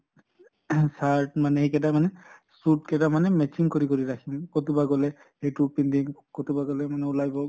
ing shirt মানে এইকেইটা মানে suit কেইটা মানে matching কৰি কৰি ৰাখিম । কʼতোবা গʼলে সেইটো পিন্ধিম । কʼতোবা গʼলে মানে ওলাই গʼল ।